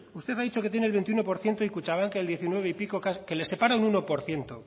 usted ha dicho que tiene el veintiuno por ciento y kutxabank el diecinueve y pico que les separa un uno por ciento